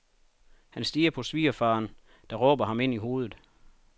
Han stirrer på svigerfaderen, der råber ham ind i hovedet.